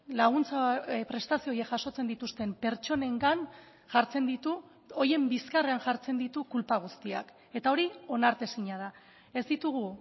laguntza prestazio horiek jasotzen dituzten pertsonengan jartzen ditu horien bizkarrean jartzen ditu kulpa guztiak eta hori onartezina da ez ditugu